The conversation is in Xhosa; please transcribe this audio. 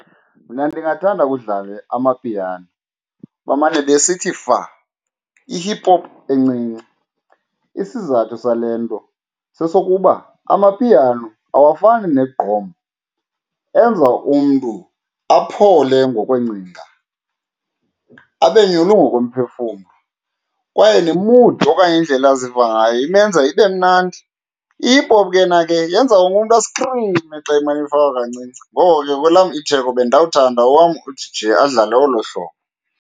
Mna ndingathanda kudlalwe amapiano bamane besithi fa i-hip hop encinci. Isizathu sale nto sesokuba amapiano awafani negqom, enza umntu aphole ngokweencinga abe nyulu ngokomphefumlo kwaye ne-mood okanye indlela aziva ngayo imenza ibe mnandi. I-hip hop ke yona ke yenza wonke umntu askrime xa imane ifakwa kancinci, ngoko ke kwelam itheko bendawuthanda owam u-D_J adlale olo hlobo.